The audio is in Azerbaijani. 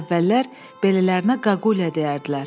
Əvvəllər belələrinə qağulya deyərdilər.